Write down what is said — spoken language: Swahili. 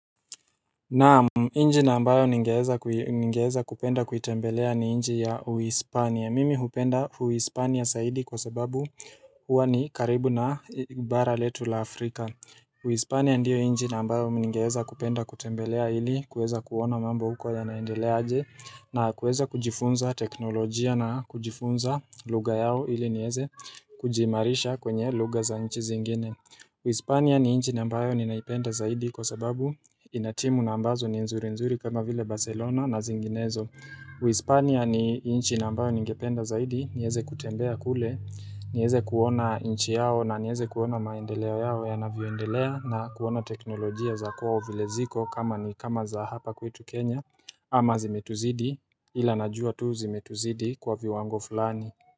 Naam na ambayo ningeweza kupenda kuitembelea ni nchi ya uispania. Mimi hupenda uispania zaidi kwa sababu huwa ni karibu na bara letu la Afrika. Uispania ndiyo nchi na ambayo ningeweza kupenda kutembelea hili, kuweza kuona mambo huko yanaendelea aje na kuweza kujifunza teknolojia na kujifunza lugha yao hili nieze kujimarisha kwenye lugha za nchi zingine. Uispania ni nchi na ambayo ninaipenda zaidi kwa sababu ina timu na ambazo ni nzuri nzuri kama vile Barcelona na zinginezo uispania ni nchi na ambayo ningependa zaidi nieze kutembea kule nieze kuona nchi yao na nieze kuona maendeleo yao yanavyoendelea na kuona teknolojia za kwao vile ziko kama ni kama za hapa kwetu Kenya ama zimetuzidi ila najua tu zimetuzidi kwa viwango fulani.